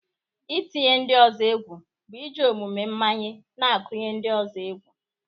Ị tinye ndị ọzọ egwu bụ iji omume mmanye na-akụnye ndị ọzọ egwu.